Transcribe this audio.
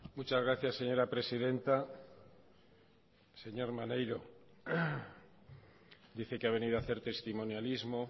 muchas gracias señora presidenta señor maneiro dice que ha venido a hacer testimonialismo